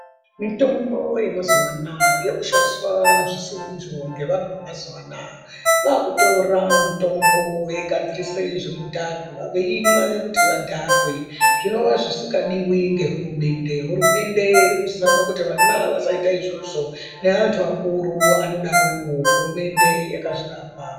Mitombo yemazuwa anaya yakushandiswa zvisirizvo ngevanhu vemazuwa anaya vakutora mutombo veigadzirise zvinodhaka veimwe kuti vadhakwe zvinova zvisingadiwi ngehurumende ,hurumende irikuzama kuti vana vasaite izvozvo nevanhu vakuru anodaroo hurumende yakazviramba.